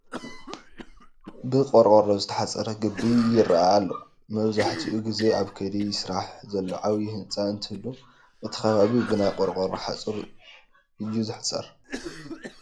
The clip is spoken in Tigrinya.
ብቆርቆሮ ዝተሓፀረ ግቢ ይርአ ኣሎ፡፡ መብዛሕትኡ ጊዜ ኣብ ከይዲ ስራሕ ዘሎ ዓብዪ ህንፃ እንትህሉ እቲ ከባቢ ብናይ ቆርቆሮ ሓፁር እዩ ዝሕፀር፡፡